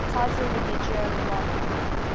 title religio romana